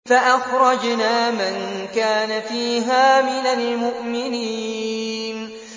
فَأَخْرَجْنَا مَن كَانَ فِيهَا مِنَ الْمُؤْمِنِينَ